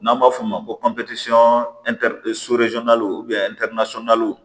N'an b'a f'o ma ko